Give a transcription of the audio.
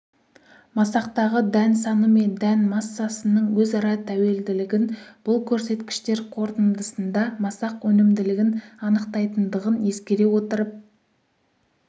масақтағы дән саны мен дән массасының өзара тәуелділігін бұл көрсеткіштер қорытындысында масақ өнімділігін анықтайтындығын ескере отырып